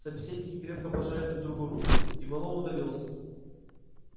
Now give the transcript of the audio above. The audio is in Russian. собеседники крепко пожали друг другу руки и мэллоу удалился